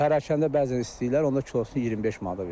Pərakəndə bəzən istəyirlər, onda kilosunu 25 manata verilir.